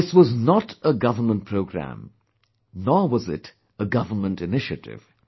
This was not a government programme, nor was it a government initiative